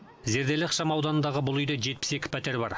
зерделі ықшамауданындағы бұл үйде жетпіс екі пәтер бар